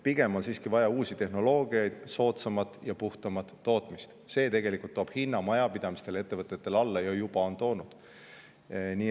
Pigem on siiski vaja uusi tehnoloogiaid ning soodsamat ja puhtamat tootmist: see toob tegelikult hinna majapidamiste ja ettevõtete jaoks alla, ja on juba toonud.